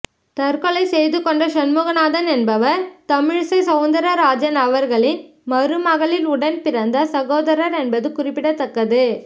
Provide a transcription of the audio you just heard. தற்கொலை செய்துகொண்ட சண்முகநாதன் என்பவர் தமிழிசை சௌந்தரராஜன் அவர்களின் மருமகளின் உடன் பிறந்த சகோதரர் என்பது குறிப்பிடத்தக்கது